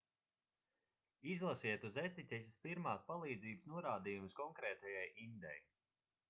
izlasiet uz etiķetes pirmās palīdzības norādījumus konkrētajai indei